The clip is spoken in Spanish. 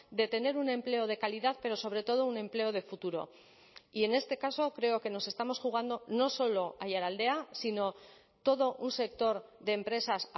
de tener un empleo de calidad pero sobre todo un empleo de futuro y en este caso creo que nos estamos jugando no solo aiaraldea sino todo un sector de empresas